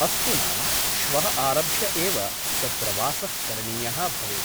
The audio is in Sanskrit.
अस्तु नाम , श्वः आरभ्य एव तत्र वासः करणीयः भवेत् ।